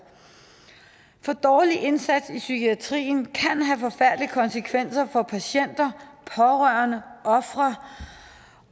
for dårlig indsats i psykiatrien kan have forfærdelige konsekvenser for patienter pårørende og ofre